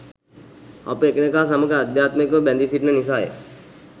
අප එකිනෙකා සමඟ ආධ්‍යාත්මිකව බැඳී සිටින නිසාය.